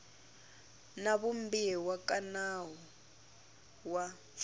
na vumbiwa ka nawu wa